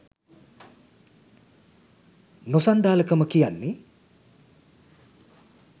නොසන්ඩාල කම කියන්නේ